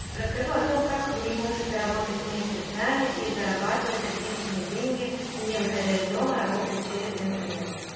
расскажу о том как вы можете работать вместе с нами и зарабатывать отличные деньги не выходя из дома работая через интернет